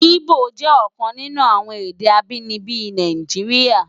Ibó jè òkan ninú awòn èdè ábìníbi Náijiriá